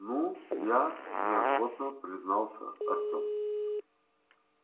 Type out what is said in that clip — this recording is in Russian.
ну я неохотно признался артём